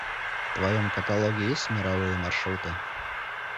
в твоем каталоге есть мировые маршруты